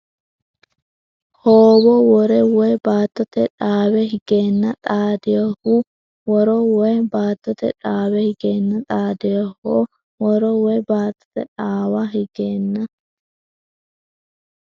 Hoowo woro woy baattote dhaawa higeenna xaad- Hoowo woro woy baattote dhaawa higeenna xaad- Hoowo woro woy baattote dhaawa higeenna.